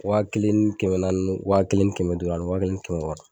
Wa kelen ni kɛmɛ naani wa kelen ni kɛmɛ duuru ani wa kelen ni kɛmɛ wɔɔrɔ.